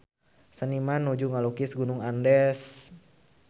Seniman nuju ngalukis Gunung Andes